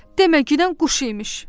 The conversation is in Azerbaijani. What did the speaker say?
Deməginən quş imiş.